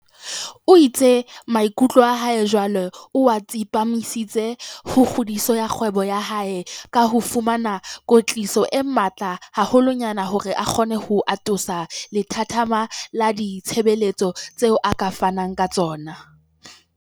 O itse maikutlo a hae jwale o a tsepamisitse ho kgodiso ya kgwebo ya hae ka ho fumana kwetliso e matla haholwanyane hore a kgone ho atolosa lethathama la ditshebeletso tseo a ka fanang ka tsona.